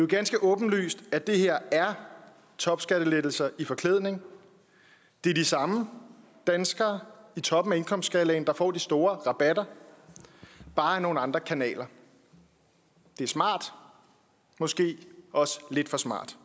ganske åbenlyst at det her er topskattelettelser i forklædning det er de samme danskere i toppen af indkomstskalaen der får de store rabatter bare ad nogle andre kanaler det er smart måske også lidt for smart